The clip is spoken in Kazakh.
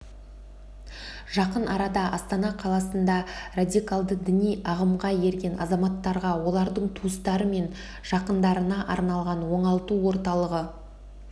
жақын арада астана қаласында радикалды діни ағымға ерген азаматтарға олардың туыстары мен жақындарына арналған оңалту орталығы